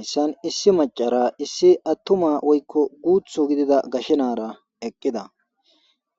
Hayissan issi macara issi attuma woykko guuthu gidida gashenaara eqqida